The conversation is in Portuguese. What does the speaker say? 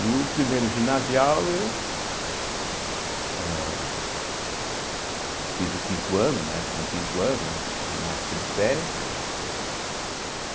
E o primeiro ginasial eu, né âh fiz o quinto ano, na época tinha o quinto ano né, na época de férias.